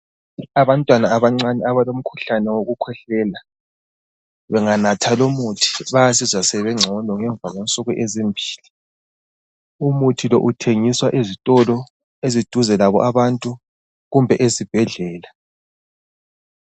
Abantwana abancane abalomkhuhlane wokukhwehlela banganatha lo muthi bayazizwa sebengcono ngemva kwensuku ezimbili. Umuthi lo uthengiswa ezitolo eziduze labo abantu kumbe ezibhedlela.